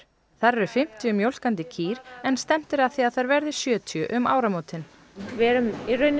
þar eru fimmtíu mjólkandi kýr en stefnt að því að þær verði sjötíu um áramótin við erum